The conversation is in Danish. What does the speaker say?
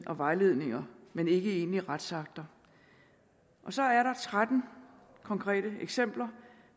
og vejledninger men ikke i egentlige retsakter så er der tretten konkrete eksempler